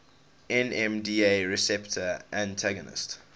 nmda receptor antagonists